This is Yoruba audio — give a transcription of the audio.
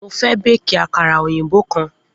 Mo fẹ́ béékì àkàrà òyìnbó kan.